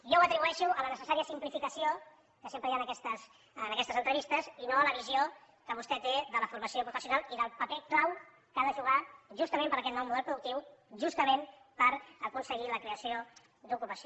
jo ho atribueixo a la necessària simplificació que sempre hi ha en aquestes entrevistes i no a la visió que vostè té de la formació professional i del paper clau que ha de jugar justament per a aquest nou model productiu justament per aconseguir la creació d’ocupació